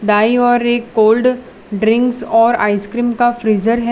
दाई ओर एक cold drinks और आईसक्रिम का फ्रिजर हैं।